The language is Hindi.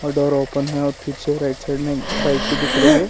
डोर ओपन है और पीछे राइट साइड में बाइक भी दिख रही है।